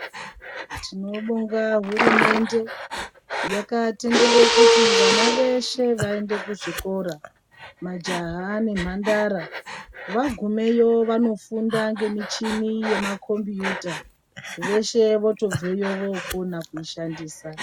Tinobonga hurumende yakatendere kuti vana veshe vaende kuzvikora, majaha nemhandara. Vagumeyo vanofunda ngemichini yamakhombiyuta, veshe votobveyo vokona kuishandisa.